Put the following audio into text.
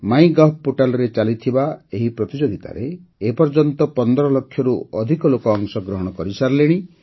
ମାଇ gov ପୋର୍ଟାଲ୍ରେ ଚାଲିଥିବା ଏହି ପ୍ରତିଯୋଗିତାରେ ଏ ପର୍ଯ୍ୟନ୍ତ ୧୫ ଲକ୍ଷରୁ ଅଧିକ ଲୋକ ଅଂଶଗ୍ରହଣ କରିସାରିଲେଣି